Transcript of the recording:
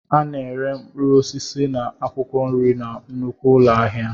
A na-ere mkpụrụ osisi na akwụkwọ nri na nnukwu ụlọ ahịa.